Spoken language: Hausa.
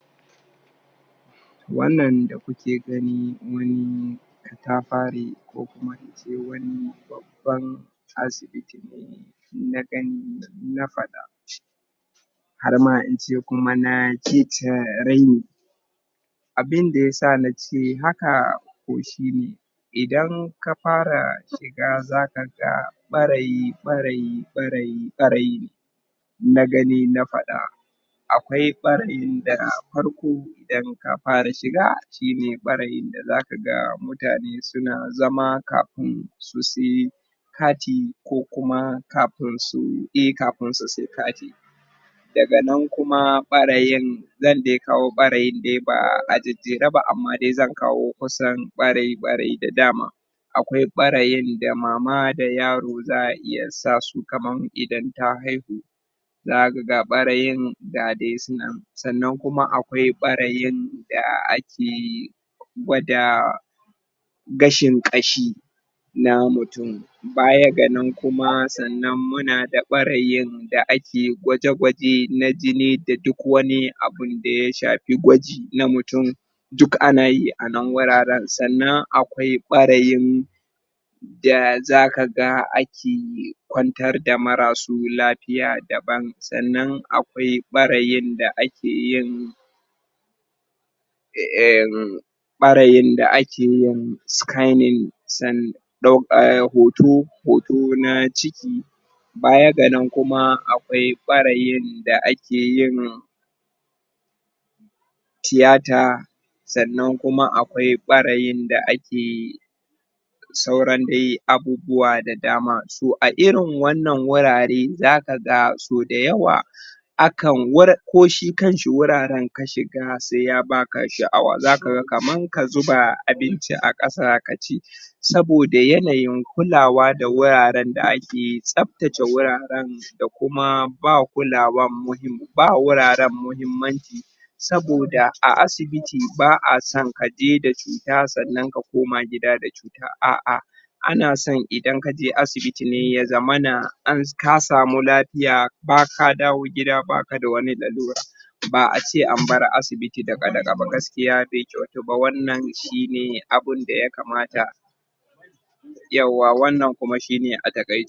wannan da kuke gani wani ko kuma in ce wani babban asibiti na gani na fada har ma in ce kuma na??? abin da ya sa na ce haka? idan ka fara shiga za ka ga bareyi bareyi bareyi bareyi na gani na fada akwai? da farko idan ka fara shiga shi ne bareyin da za ka ga mutane su na zama kafin su sai kati ko kuma kafin su sayi eh kafin su sayi kati daga nan kuma bareyin? da ya kawo bareyin dai ba a jaraba amma dai zan kusa kawo bareyi bareyi da dama akwai bareyin da mama da yaro za a iya sa su kaman idan ta haihu za ka ga bareyin da dai suna sannan kuma akwai bareyin da ake gwda gashin kashi na mutum baya ga nan kuma sannan muna da bareyin da ake gwaje gwajen na jini da duk wani abun da ya shafi gwaji na mutum duk ana yi anan wuraren sannan akwai bareyin da za ka ga ake kwantar da marasu lafiya daban sannan akwai bareyin da ake yin um bareyin da ake yin scanning hoto hoto na ciki baya ga nan kuma akwai bareyn da ake yin theatre sannan kuma akwai bareyin da ake sauran dai abubuwa da dama so a irin wannan wurare za ka ga so da yawa akan wur ko shi kan shi wuraren ka shiga sai ya ba ka sha'awa za ka ga kaman a zuba abinci a kasa ka ci soboda yanayin kulawa da wuraren da ake tsaf tsaftacen wuraren da kuma ba kulawan muhimm ba wuraren muhimmanci soboda a asibiti ba'a son ka je da cuta sannan ka koma gida da cuta a'a ana sonidan ka je asibitine ya zamana ka samu lafiya ba ka dawo gida ba ka da wani lalura ba'a ce an bar asibiti duka duka ba gaskiya ba kyauta ba wannan shi ne abin da ya kamata yauwa wannan kuma shi ne a takai